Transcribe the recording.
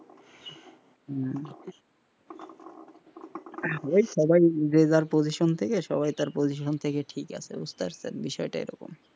হম এই সবাই যে যার position থেকে সবাই তার position ঠিক আছে বুঝতে পারছেন বিষয়টা এরকম,